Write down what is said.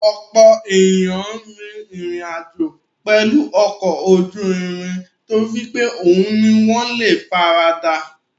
Ọ̀pọ̀ ènìyàn rin ìrìn àjò pẹ̀lú ọkọ̀ ojú irin torí pé òhun ni wọ́n le faradà.